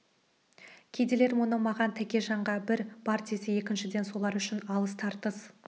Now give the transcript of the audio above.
кедейлер мұны маған тәкежанға бір бар десе екіншіден солар үшін алыс тартыс